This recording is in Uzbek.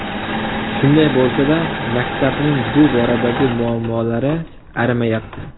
Shunday bo‘lsa-da, maktabning bu boradagi muammolari arimayapti.